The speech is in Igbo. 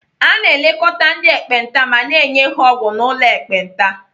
A na-elekọta ndị ekpenta ma na-enye ha ọgwụ n'ụlọ ekpenta.